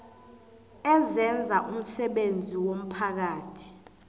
ezenza umsebenzi womphakathi